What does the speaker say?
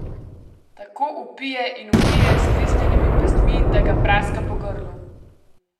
Tako vpije in vpije s stisnjenimi pestmi, da ga praska po grlu.